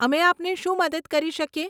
અમે આપને શું મદદ કરી શકીએ?